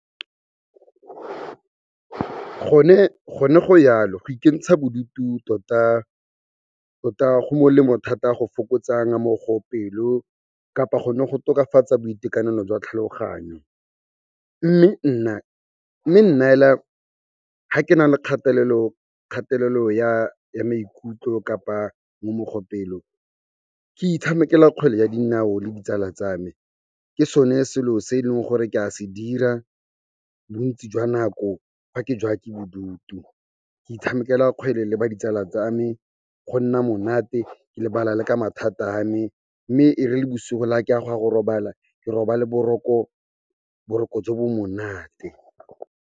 Gone go jalo go ikentsha bodutu tota go molemo thata go fokotsana mo go pelo kapa gona go tokafatsa boitekanelo jwa tlhaloganyo. Mme nna fela ga ke na le kgatelelo ya maikutlo kapa pelo, ke itshamekela kgwele ya dinao le ditsala tsa me. Ke sone selo se e leng gore ke a se dira bontsi jwa nako fa ke jewa ke bodutu. Ke itshamekela kgwele le ba ditsala tsa me, go nna monate, ke lebala le ka mathata a me, mme ere bosigo le fa ke a go ya go robala, ke robale boroko jo bo monate.